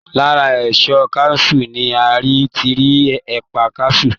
Lára èso kaṣú ni a ti rí ẹ̀pà kaṣú